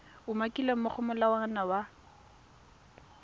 umakilweng mo go molawana wa